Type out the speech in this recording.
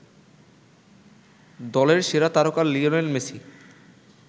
দলের সেরা তারকা লিওনেল মেসি